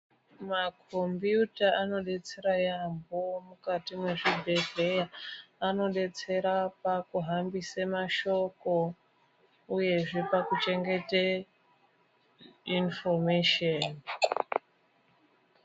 Makombiyuta anobetsera yaambo mukati mwezvibhedhleya. Anobetsera pakuhambise mashoko, uyezve pakuchengete inifomesheni.